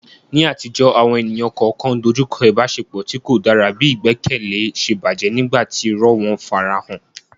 Ní àtijọ́, àwọn ènìyàn kọ̀ọ̀kan dojú kọ ìbáṣepọ̀ tí kò dára bí ìgbẹ́kẹ̀lé ṣe bàjẹ́ nígbà tí irọ́ wọn farahàn.